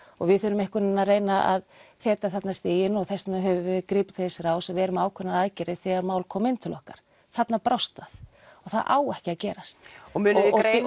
og við þurfum einhvern vegin að reyna að feta þarna stíginn og þess vegna höfum við gripið til þess ráðs og við erum með ákveðnar aðgerðir þegar mál koma inn til okkar þarna brást það og það á ekki að gerast og munið